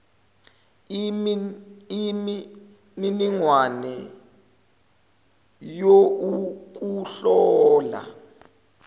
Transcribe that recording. imi niningwane youkuhlola